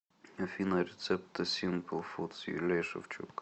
афина рецепты симпл фуд с юлией шевчук